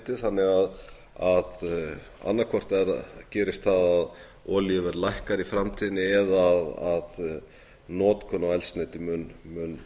tíma litið þannig að annað hvort gerist það olíuverð lækkar í framtíðinni eða að notkun á eldsneyti mun